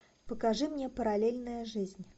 покажи мне параллельная жизнь